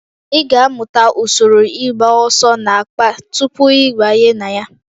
Ị ga-amụta usoro ịgba ọsọ n'akpa tupu ị banye na ya